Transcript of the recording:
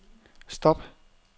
stop